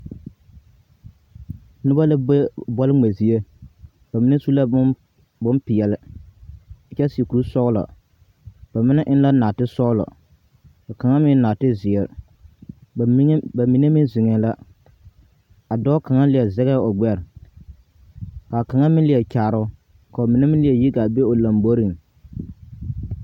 Noba la be bɔle ŋmɛ zie ba mine su la bom.. bompeɛle kyɛ seɛ kuri sɔgelɔ. ba mine eŋ la naate sɔgelɔ ka kaŋa meŋ eŋ naate zeere. Ba mine, Ba mine meŋ zeŋɛɛ la. A dɔɔ kŋa leɛ zagɛɛ o gbɛre, ka kaŋa meŋ leɛ kyaare o ka ba mine meŋ leɛ yi gaa be o lamboriŋ.